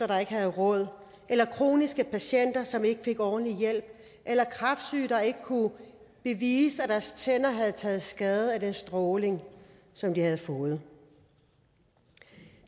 der ikke havde råd eller kroniske patienter som ikke fik ordentlig hjælp eller kræftsyge der ikke kunne bevise at deres tænder havde taget skade af den stråling som de havde fået